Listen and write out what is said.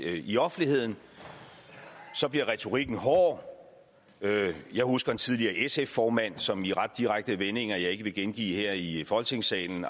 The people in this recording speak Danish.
i offentligheden bliver retorikken hård jeg husker en tidligere sf formand som i ret direkte vendinger som jeg ikke vil gengive her i folketingssalen